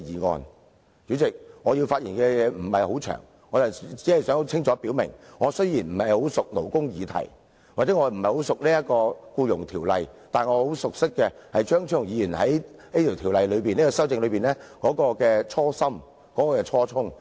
代理主席，我的發言不會很長，我只想清楚表明，我雖然不熟識勞工議題，或者不熟識《僱傭條例》，但我很熟識的是，張超雄議員就這項《條例草案》動議修正案的初心和初衷。